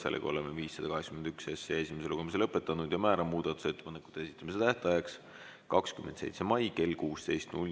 Oleme eelnõu 581 esimese lugemise lõpetanud ja määran muudatusettepanekute esitamise tähtajaks 27. mai kell 16.